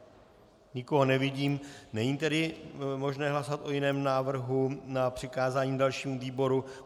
Nikoho nevidím, není tedy možné hlasovat o jiném návrhu na přikázání dalšímu výboru.